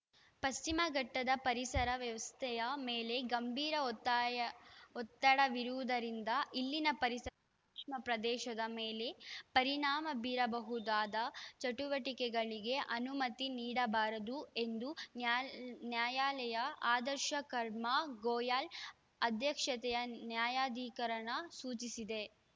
ಪಶ್ಚಿಮ ಘಟ್ಟದ ಪರಿಸರ ವ್ಯವಸ್ಥೆಯ ಮೇಲೆ ಗಂಭೀರ ಒತ್ತಾಯ ಒತ್ತಡವಿರುವುದರಿಂದ ಇಲ್ಲಿನ ಪರಿಸರಸೂಕ್ಷ್ಮ ಪ್ರದೇಶದ ಮೇಲೆ ಪರಿಣಾಮ ಬೀರಬಹುದಾದ ಚಟುವಟಿಕೆಗಳಿಗೆ ಅನುಮತಿ ನೀಡಬಾರದು ಎಂದು ನ್ಯಾಲ್ ನ್ಯಾಯಾಲಯ ಆದರ್ಶ ಕುಮಾರ್‌ ಗೋಯಲ್‌ ಅಧ್ಯಕ್ಷತೆಯ ನ್ಯಾಯಾಧಿಕರಣ ಸೂಚಿಸಿದೆ